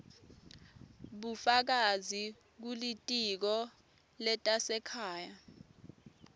bufakazi kulitiko letasekhaya